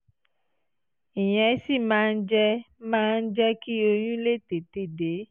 ìyẹn sì máa ń jẹ́ máa ń jẹ́ kí oyún lè tètè dé